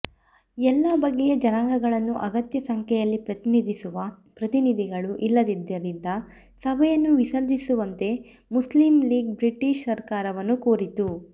ಎಲ್ಲ ಬಗೆಯ ಜನಗಳನ್ನು ಅಗತ್ಯ ಸಂಖ್ಯೆಯಲ್ಲಿ ಪ್ರತಿನಿಧಿಸುವ ಪ್ರತಿನಿಧಿಗಳು ಇಲ್ಲದ್ದರಿಂದ ಸಭೆಯನ್ನು ವಿಸರ್ಜಿಸುವಂತೆ ಮುಸ್ಲಿಮ್ಲೀಗ್ ಬ್ರಿಟಿಷ್ ಸರ್ಕಾರವನ್ನು ಕೋರಿತು